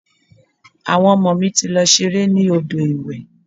Àwọn ọmọ mi ti lọ ṣeré ní odò ìwẹ̀.